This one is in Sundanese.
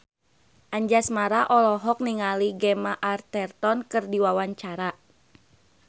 Anjasmara olohok ningali Gemma Arterton keur diwawancara